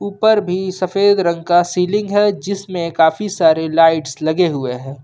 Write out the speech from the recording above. ऊपर भी सफेद रंग का सीलिंग है जिसमें काफी सारे लाइट्स लगे हुए हैं।